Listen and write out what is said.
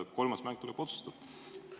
Kolmas mäng tuleb otsustav.